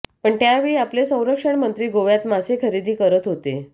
पण त्यावेळी आपले संरक्षण मंत्री गोव्यात मासे खरेदी करत होते